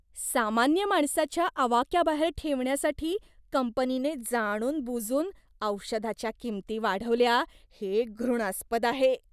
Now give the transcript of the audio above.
सामान्य माणसाच्या आवाक्याबाहेर ठेवण्यासाठी कंपनीने जाणूनबुजून औषधाच्या किंमती वाढवल्या हे घृणास्पद आहे.